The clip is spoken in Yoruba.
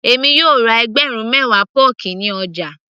èmi yóò ra ẹgbẹ̀rún mewa pọ́ọ̀kì ní ọjà